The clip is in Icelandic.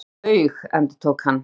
Þetta var spaug. endurtók hann.